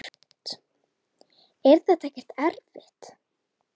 Hrund: Er þetta ekkert erfitt?